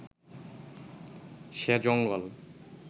সে জঙ্গল